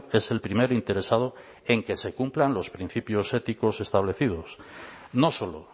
es el primer interesado en que se cumplan los principios éticos establecidos no solo